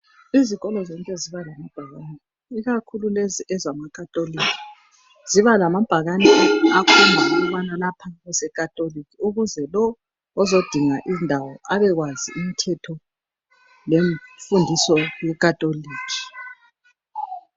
Izikolo zonke ziba lamabhakane ikakhulu lezi ezama catholic ziba lamabhakane akhomba ukubana lapha kusecatholic ukuze lo ozodinga indawo abekwazi imthetho lemfundiso ye catholic.